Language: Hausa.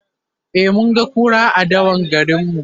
e mun ga kura a dawan garinmu